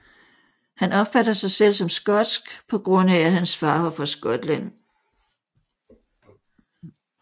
Han opfatter sig selv som skotsk på grund af at hans far var fra Skotland